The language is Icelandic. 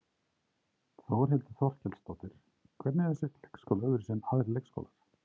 Þórhildur Þorkelsdóttir: Hvernig er þessi leikskóli öðruvísi en aðrir leikskólar?